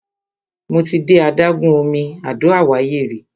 Mo ti de adágún omi Àdó Àwáyé rí.